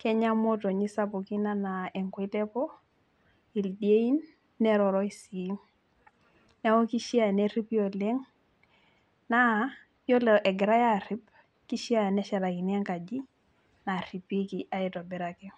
kenya imotonyik ashuu ildien neroroi sii neeku keishia neripi openg naa ore egirai aarip keishia neshetakini enkaji naa nairipieki.